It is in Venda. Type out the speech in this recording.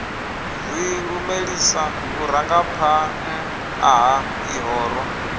ri lumelisa vhurangaphanḓa ha ḽihoro